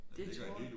Det tror jeg